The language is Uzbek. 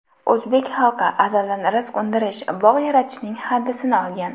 O‘zbek xalqi azaldan rizq undirish, bog‘ yaratishning hadisini olgan.